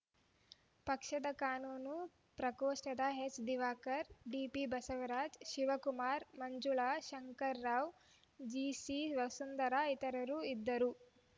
ಪಕ್ಷದ ಕಾನೂನು ಪ್ರಕೋಷ್ಟದ ಎಚ್‌ದಿವಾಕರ್‌ ಡಿಪಿಬಸವರಾಜ ಶಿವಕುಮಾ ಮಂಜುಳಾ ಶಂಕರರಾವ್‌ ಜಿಸಿವಸುಂಧರಾ ಇತರರು ಇದ್ದರು